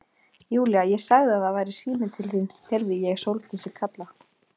Júlía, ég sagði að það væri síminn til þín heyrði ég Sóldísi kalla.